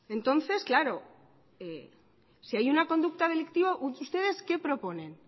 entonces claro si hay una conducta delictiva ustedes qué proponen